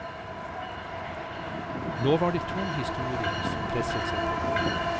Nå var det to historier som presset seg på.